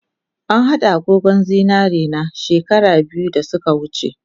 An hada agogon zinarena she kara biyu dasuka wuce